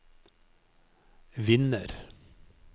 vinner